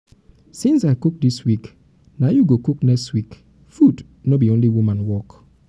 since i cook dis week na you go cook next week food no be only woman work.